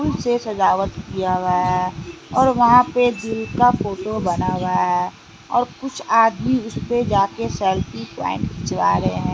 फूल से सजावट किया हुआ है और वहां पे जीव का फोटो बना हुआ है और कुछ आदमी उस पे जा के सेल्फी पॉइंट खिंचवा रहे है।